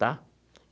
Tá?